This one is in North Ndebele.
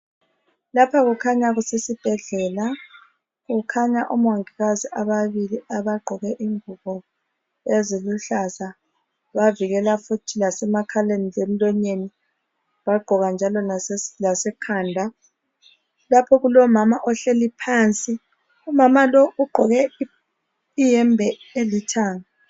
Lapha kukhanya kusesibhedlela, kukhanya omongikazi ababili abagqoke ingubo eziluhlaza, bavikela futhi lasemakhaleni lemlonyeni. Bagqoka njalo lasekhanda, lapho kulomama ohleli phansi. Umama lo ugqoke iyembe elithanga.